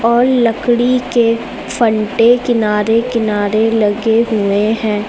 और लकड़ी के फंटे किनारे किनारे लगे हुए हैं।